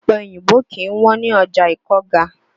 Ọ̀pẹ oyìnbó kì í wọ́n ní ọ̀já Ìkọ́ga.